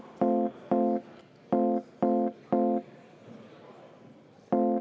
Vaheaeg kümme minutit.